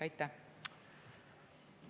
Aitäh!